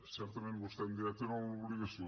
certament vostè em dirà hi tenen l’obligació